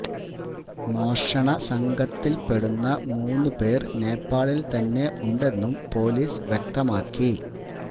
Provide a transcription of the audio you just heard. മോഷണ സംഘത്തില്പ്പെടുന്ന മൂന്ന് പേര് നേപ്പാളില് തന്നെ ഉണ്ടെന്നും പൊലീസ് വ്യക്തമാക്കി